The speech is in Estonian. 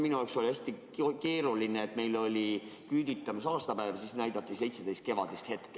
Minu jaoks oli hästi keeruline, et meil oli küüditamise aastapäev ja siis näidati filmi "Seitseteist kevadist hetke".